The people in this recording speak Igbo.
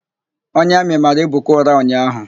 Onye Amị mara Ebuka ụra ụnyaahụ.